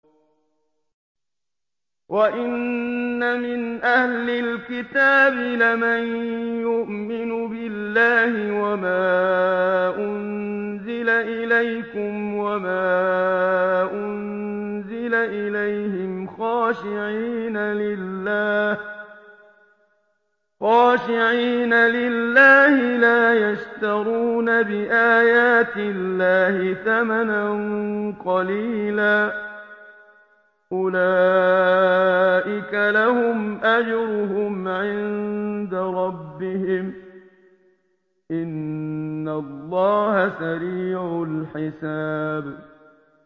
وَإِنَّ مِنْ أَهْلِ الْكِتَابِ لَمَن يُؤْمِنُ بِاللَّهِ وَمَا أُنزِلَ إِلَيْكُمْ وَمَا أُنزِلَ إِلَيْهِمْ خَاشِعِينَ لِلَّهِ لَا يَشْتَرُونَ بِآيَاتِ اللَّهِ ثَمَنًا قَلِيلًا ۗ أُولَٰئِكَ لَهُمْ أَجْرُهُمْ عِندَ رَبِّهِمْ ۗ إِنَّ اللَّهَ سَرِيعُ الْحِسَابِ